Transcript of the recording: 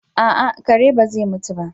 A'a kare ba zai mutu ba